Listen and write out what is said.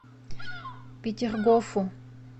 петергофу